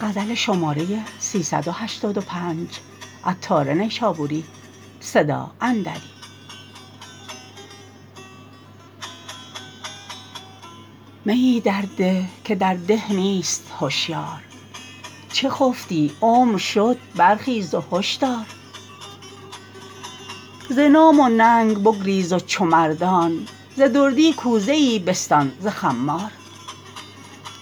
میی درده که در ده نیست هشیار چه خفتی عمر شد برخیز و هشدار ز نام و ننگ بگریز و چو مردان ز دردی کوزه ای بستان ز خمار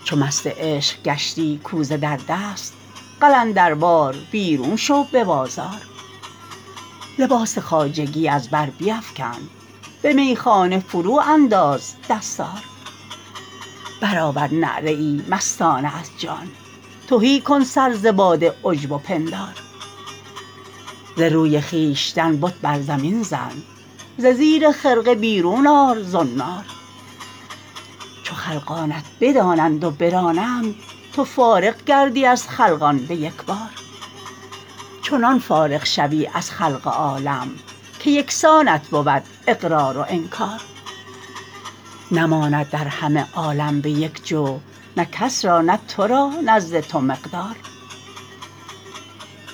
چو مست عشق گشتی کوزه در دست قلندروار بیرون شو به بازار لباس خواجگی از بر بیفکن به میخانه فرو انداز دستار برآور نعره ای مستانه از جان تهی کن سر ز باد عجب و پندار ز روی خویشتن بت بر زمین زن ز زیر خرقه بیرون آر زنار چو خلقانت بدانند و برانند تو فارغ گردی از خلقان به یکبار چنان فارغ شوی از خلق عالم که یکسانت بود اقرار و انکار نماند در همه عالم به یک جو نه کس را نه تو را نزد تو مقدار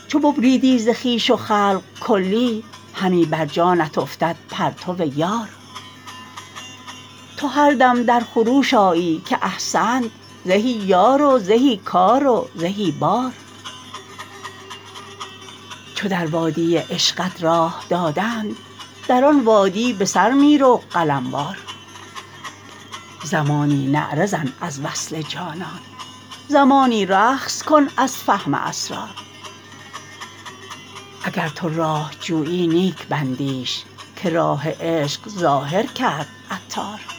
چو ببریدی ز خویش و خلق کلی همی بر جانت افتد پرتو یار تو هر دم در خروش آیی که احسنت زهی یار و زهی کار و زهی بار چو در وادی عشقت راه دادند در آن وادی به سر می رو قلم وار زمانی نعره زن از وصل جانان زمانی رقص کن از فهم اسرار اگر تو راه جویی نیک بندیش که راه عشق ظاهر کرد عطار